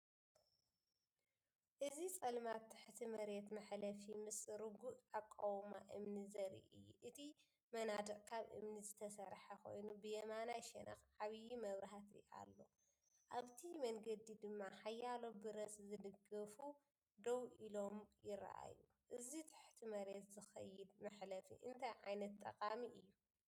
እዚ ጸልማት ትሕቲ መሬት መሕለፊ ምስ ርጉእ ኣቃውማ እምኒ ዘርኢ እዩ። እቲ መናድቕ ካብ እምኒ ዝተሰርሐ ኮይኑ፡ብየማናይ ሸነኽ ዓቢ መብራህቲ ኣሎ፡ኣብቲ መንገዲ ድማ ሓያሎ ብረት ዝድግፉ ደው ኢሎምይረኣዩ። እዚ ትሕቲ መሬት ዝኸይድ መሕለፊ እንታይ ዓይነት ጠቃሚ እዩ?